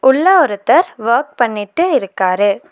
உள்ள ஒருத்தர் வொர்க் பண்ணிட்டு இருக்காரு.